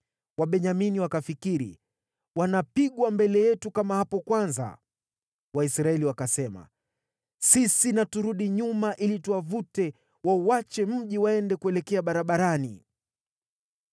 Wabenyamini wakafikiri, “Wanapigwa mbele yetu kama hapo kwanza.” Waisraeli wakasema, “Sisi na turudi nyuma ili tuwavute wauache mji waende kuelekea barabarani.”